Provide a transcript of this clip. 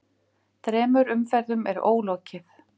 Þremur umferðum er ólokið